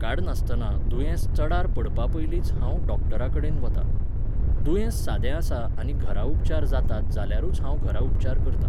काडनासतना दुयेंस चडार पडपापयलींच हांव डॉक्टरांकडेन वतां. दुयेंस सादें आसा आनी घरां उपचार जातात जाल्यारूच हांव घरा उपचार करतां.